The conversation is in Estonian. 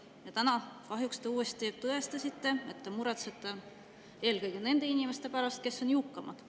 Te täna kahjuks uuesti tõestasite, et te muretsete eelkõige nende inimeste pärast, kes on jõukamad.